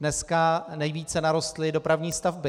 Dneska nejvíce narostly dopravní stavby.